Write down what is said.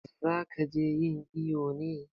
Za ki je yin iƴo ne?